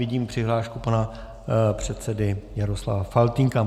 Vidím přihlášku pana předsedy Jaroslava Faltýnka.